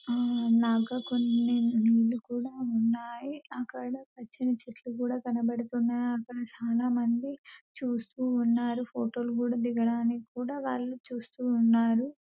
ఆ నగ కోన్ నీళ్లు కూడా ఉన్నాయ్ అక్కడ పచ్చని చెట్లు కూడా కనబడుతున్నఅక్కడ చాలా మంది చూస్తూ ఉన్నారు ఫోటో లు కూడా దిగడానికి కూడా వాళ్ళు చూస్తూ ఉన్నారు .